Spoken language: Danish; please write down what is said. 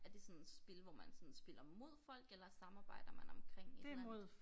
Er det sådan spil hvor man sådan spiller mod folk eller samarbejder man omkring et eller andet